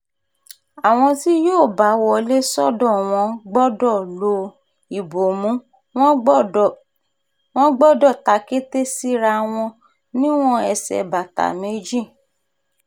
àwọn tí yóò bá wọlé sọ́dọ̀ wọn gbọ́dọ̀ lo ìbomú wọn gbọ́dọ̀ tàkété síra wọn níwọ̀n ẹsẹ̀ bàtà méjì